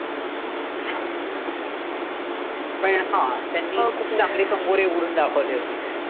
पण हां त्यांनी खूप चांगले कंगोरे उघडून दाखवले होते.